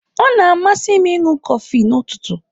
Ọ na-amasị m ịṅụ kọfị n'ụtụtụ.